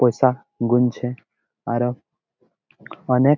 পয়সা গুনছে আরো অনেক--